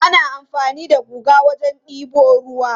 Ana amfani da guga wajen debo ruwa.